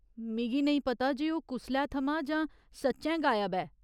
मिगी नेईं पता जे ओह् कुसलै थमां जां सच्चैं गायब ऐ।